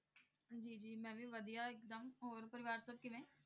ਜੀ ਜੀ ਮੈਂ ਵੀ ਵਧੀਆ ਇੱਕਦਮ, ਹੋਰ ਪਰਿਵਾਰ ਸਭ ਕਿਵੇਂ?